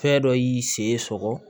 Fɛn dɔ y'i sen sɔgɔ